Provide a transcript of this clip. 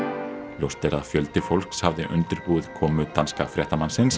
ljóst er að fjöldi fólks hafði undirbúið komu danska fréttamannsins